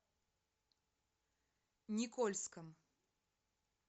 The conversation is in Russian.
никольском